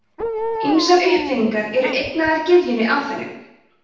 ýmsar uppfinningar eru eignaðar gyðjunni aþenu